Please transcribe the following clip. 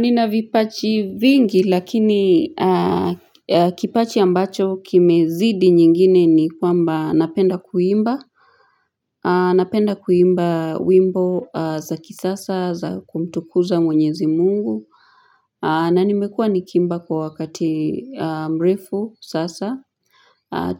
Nina vipaji vingi lakini kipaji ambacho kime zidi nyingine ni kwamba napenda kuimba. Napenda kuimba wimbo za kisasa za kumtukuza mwenyezi mungu. Na nimekuwa nikiimba kwa wakati mrefu sasa.